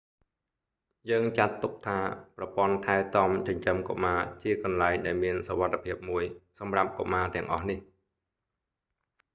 យើងចាត់ទុកថា ប្រព័ន្ធថែទាំចិញ្ចឹមកុមារជាកន្លែងដែលមានសុវត្ថិភាពមួយសម្រាប់កុមារទាំងអស់នេះ